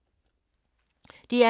DR K